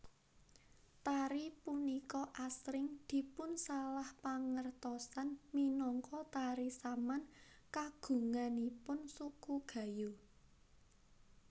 Tari punika asring dipunsalahpangertosan minangka tari Saman kagunganipun suku Gayo